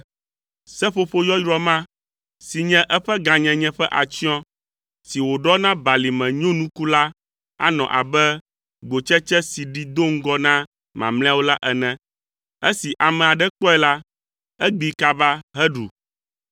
Seƒoƒo yɔyrɔ ma si nye eƒe gãnyenye ƒe atsyɔ̃ si wòɖɔ na balime nyonuku la anɔ abe gbotsetse si ɖi do ŋgɔ na mamlɛawo la ene; esi ame aɖe kpɔe la, egbee kaba heɖu.